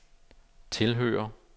tilhører